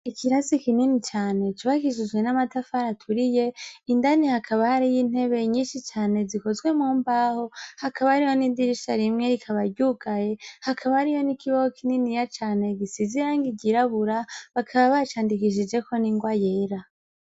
Ikirasi kinini cane cobakishijwe n'amatafara aturiye indani hakaba hari yo intebe nyinshi cane zikozwe mu mbaho hakaba ariho n'idirisha rimwe rikabaryugaye hakaba hari yo n'ikibogo kinini ya cane gisizirangi igirabura bakaba bacandikishijeko n'ingoa yera.